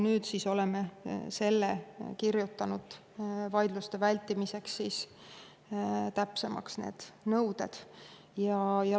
Nüüd me oleme vaidluste vältimiseks kirjutanud need nõuded täpsemaks.